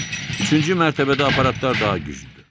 Baxın, üçüncü mərtəbədə aparatlar daha güclüdür.